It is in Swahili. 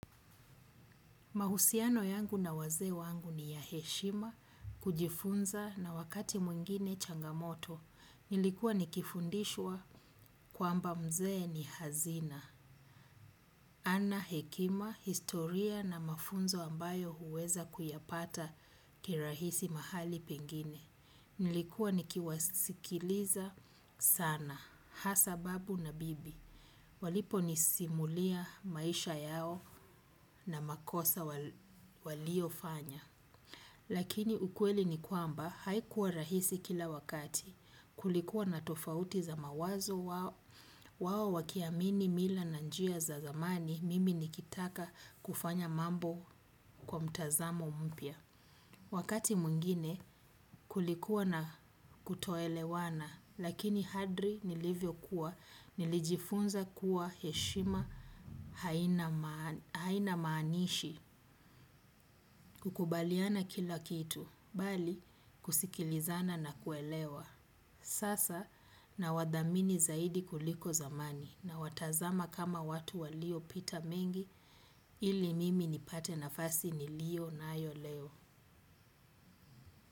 Mahusiano yangu na wazee wangu ni ya heshima, kujifunza na wakati mwingine changamoto. Nilikuwa nikifundishwa kwamba mzee ni hazina. Ana hekima, historia na mafunzo ambayo huweza kuyapata kirahisi mahali pengine. Nilikuwa nikiwasikiliza sana, hasa babu na bibi. Waliponisimulia maisha yao na makosa walio fanya. Lakini ukweli ni kwamba haikuwa rahisi kila wakati kulikuwa na tofauti za mawazo wao wakiamini mila na njia za zamani mimi nikitaka kufanya mambo kwa mtazamo mpya. Wakati mwingine kulikuwa na kutoelewana lakini hadri nilivyo kuwa nilijifunza kuwa heshima haina maanishi kukubaliana kila kitu bali kusikilizana na kuelewa. Sasa nawadhamini zaidi kuliko zamani nawatazama kama watu waliopita mengi ili mimi nipate nafasi nilio nayo leo.